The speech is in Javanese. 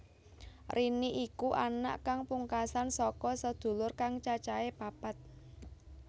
Rini iku anak kang pungkasan saka sedulur kang cacahé papat